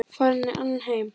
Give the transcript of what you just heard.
Farin í annan heim.